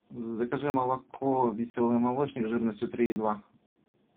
закажи молоко веселый молочник жирностью три и два